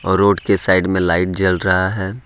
Road के side में light जल रहा है।